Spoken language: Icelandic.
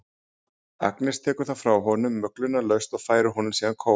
Agnes tekur það frá honum möglunarlaust og færir honum síðan kók.